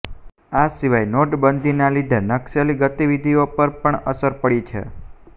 આ સિવાય નોટબંધીના લીધે નક્સલી ગતિવિધિઓ પર પણ અસર પડી છે